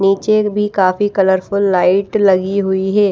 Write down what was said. नीचे भी काफी कलरफुल लाइट लगी हुई है।